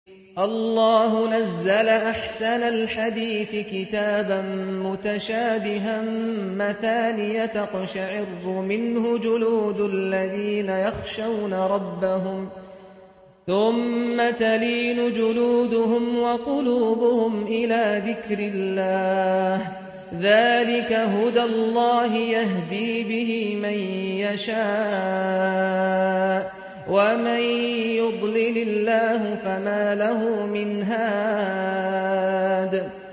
اللَّهُ نَزَّلَ أَحْسَنَ الْحَدِيثِ كِتَابًا مُّتَشَابِهًا مَّثَانِيَ تَقْشَعِرُّ مِنْهُ جُلُودُ الَّذِينَ يَخْشَوْنَ رَبَّهُمْ ثُمَّ تَلِينُ جُلُودُهُمْ وَقُلُوبُهُمْ إِلَىٰ ذِكْرِ اللَّهِ ۚ ذَٰلِكَ هُدَى اللَّهِ يَهْدِي بِهِ مَن يَشَاءُ ۚ وَمَن يُضْلِلِ اللَّهُ فَمَا لَهُ مِنْ هَادٍ